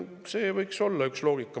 Nii et see võiks olla üks loogika.